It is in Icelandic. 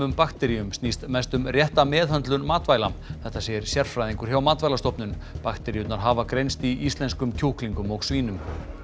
bakteríum snýst mest um rétta meðhöndlun matvæla þetta segir sérfræðingur hjá Matvælastofnun bakteríurnar hafa greinst í íslenskum kjúklingum og svínum